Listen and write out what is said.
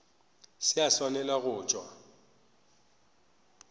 se a swanela go tšwa